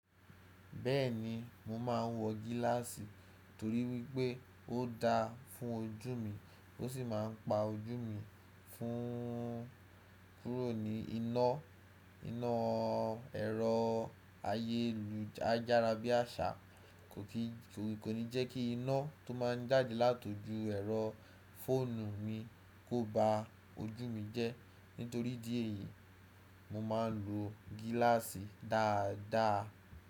Bẹ́ẹ̀ni mo máa ń wọ gíláàsì torí wípé ó dáa fún ojú mi ó sì máa ń pa ojú mi fún kúrò ní iná, iná ẹ̀rọ ayélujára bí àṣá kò ní jẹ́ kíí iná tó máa ń jáde láti ojú ẹ̀rọ fóònù mi kó ba ojú mi jẹ́. Nítorí ìdí èyí, mo máa ń lo gíláàsì dáadáa.